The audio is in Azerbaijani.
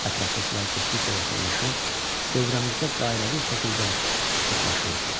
Ətrafdakılar getdikcə yaxınlaşır, dövrəmizdə dairəvi şəkildə sıxlaşırdılar.